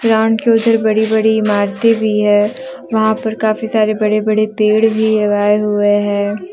Ground के उधर बड़ी बड़ी इमारतें भी है वहां पर काफी सारे बड़े बड़े पेड़ भी लगाए हुए हैं।